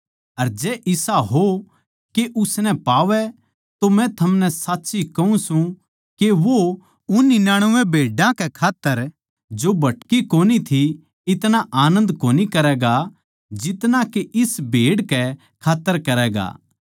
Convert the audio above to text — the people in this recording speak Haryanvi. अर जै इसा हो के उसनै पावै तो मै थमनै साच्ची कहूँ सूं के वो उन निन्यानबे भेड्डां कै खात्तर जो भटकी कोनी थी इतणा आनन्द कोनी करैगा जितना के इस भेड़ कै खात्तर करैगा